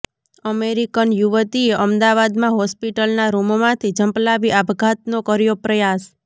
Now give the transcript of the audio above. American યુવતીએ અમદાવાદમાં હોસ્પિટલના રૂમમાંથી ઝંપલાવી આપઘાતનો કર્યો પ્રયાસ